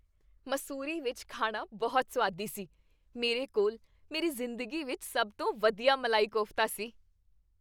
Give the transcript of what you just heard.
ਮਸੂਰੀ ਵਿੱਚ ਖਾਣਾ ਬਹੁਤ ਸੁਆਦੀ ਸੀ। ਮੇਰੇ ਕੋਲ ਮੇਰੀ ਜ਼ਿੰਦਗੀ ਵਿੱਚ ਸਭ ਤੋਂ ਵਧੀਆ ਮਲਾਈ ਕੋਫ਼ਤਾ ਸੀ।